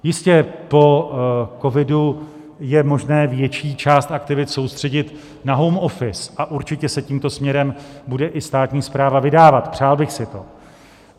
Jistě, po covidu je možné větší část aktivit soustředit na home office a určitě se tímto směrem bude i státní správa vydávat, přál bych si to.